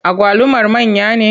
Agwalumar manya ne?